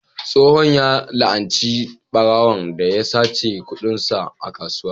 Tsohon ya la'anci ɓarawon da ya sace kudinsa a kasuwa.